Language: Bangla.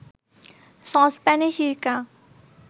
সসপ্যানে সিরকা